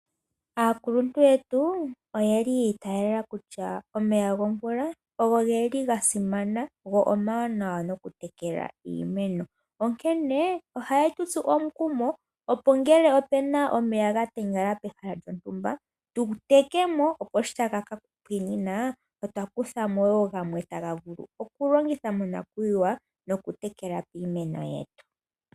Aakuluntu yetu, oye li yiitaala kutya, omeya gomvula ogo geli ga simana go omawanawa nokutekele iimeno, onkene ohaye tu tsu omukumo opo ngele ope na omeya ga tengala pehala lyontumba tu teke mo, opo shi taga ka pwiinina, otwa kutha mo woo gamwe taga vulu okulongithwa monakuyiwa nokutekela piimeno yetu.